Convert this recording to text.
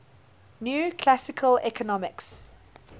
new classical economics